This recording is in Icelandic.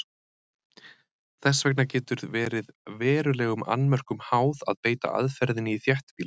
Þess vegna getur verið verulegum annmörkum háð að beita aðferðinni í þéttbýli.